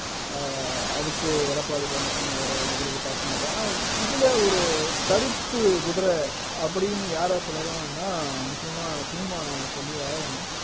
ஆஹ் அதுக்கு எடப்பாடி பழனிச்சாமி அவர பதிலுக்கு தாக்குனாரு ஆனா இதுல ஒரு கருப்பு குதிரை அப்படின்னு யார சொல்லலாம்னா நிச்சயமா சீமான சொல்லி ஆகணும்